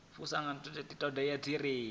fusha ṱhoḓea dzoṱhe dzi re